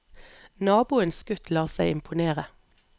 Naboens gutt lar seg imponere.